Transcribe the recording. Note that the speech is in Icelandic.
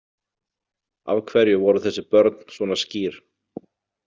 Af hverju voru þessi börn svona skýr?